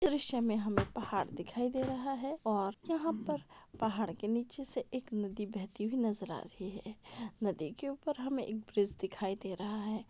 दृश में हमे पहाड़ दिखाई दे रहा है और यहा पर पहाड़ के नीचे से एक नदी बेहती हुई नजर आ रही है नदी के ऊपर हमे एक ब्रिज दिखाई दे रहा है।